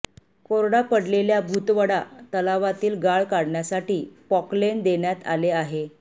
कोरडा पडलेल्या भुतवडा तलावातील गाळ काढण्यासाठी पॉकलेन देण्यात आले आहे